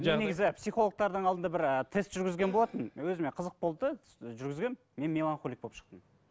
мен негізі психологтардың алдында бір ы тест жүргізген болатынмын өзіме қызық болды да жүргізгенмін мен меланхолик болып шықтым